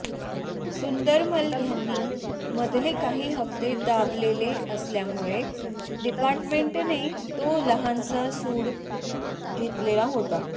सुंदरमल यांनी मधले काही हप्ते दाबलेले असल्यामुळे डिपार्टमेंटने तो लहानसा सूड घेतलेला होता